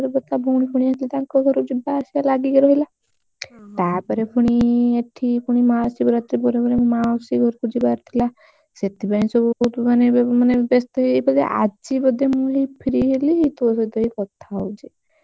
ଭଉଣୀ ଫୌନି ଆସିଥିଲେ ତାଙ୍କ ଘରେ ଯିବା ଆସିବା ଲାଗି ରହିଲା ତାପରେ ପୁଣି ଏଠି ମହାଶିବ ରାତ୍ରି ପରେ ପରେ ମାଉସୀ ଘରକୁ ଯିବାର ଥିଲା ସେଥିପାଇଁ ସବୁ ମାନେ ବେସ୍ତ ଥିଲି ଆଜି ବୋଧେ ହେଇ ମୁଁ free ହେଲି ତୋ ସହିତ ହେଇ କଥା ହଉଛି।